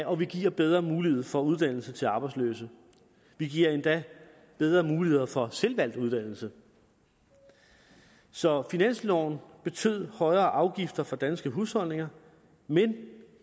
og vi giver bedre mulighed for uddannelse til arbejdsløse vi giver endda bedre muligheder for selvvalgt uddannelse så finansloven betød højere afgifter for danske husholdninger men